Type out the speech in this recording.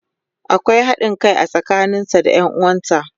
akwai haɗin Kai a tsakanin sa da Yan uwansa.